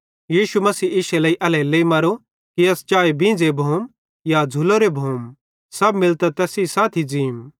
यीशु मसीह इश्शे लेइ एल्हेरेलेइ मरो कि अस चाए बींझ़े भोम या झ़ुलोरे भोम सब मिलतां तैस सेइं साथी ज़ींम